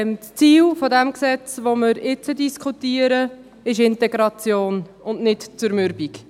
Das Ziel des Gesetzes, welches wir jetzt diskutieren, ist Integration und nicht Zermürbung.